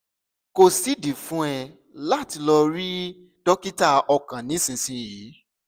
kò sídìí fún ẹ láti lọ rí dókítà ọkàn nísinsìnyí